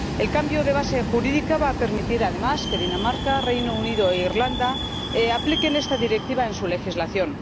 El cambio de base jurídica va a permitir además que Dinamarca, Reino Unido e Irlanda incorporen esta Directiva a su legislación.